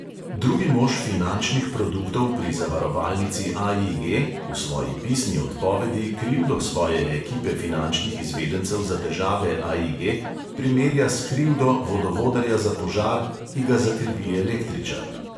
Drugi mož finančnih produktov pri zavarovalnici AIG v svoji pisni odpovedi krivdo svoje ekipe finančnih izvedencev za težave AIG primerja s krivdo vodovodarja za požar, ki ga zakrivi električar.